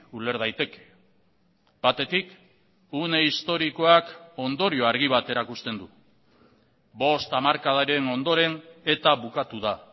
uler daiteke batetik une historikoak ondorio argi bat erakusten du bost hamarkadaren ondoren eta bukatu da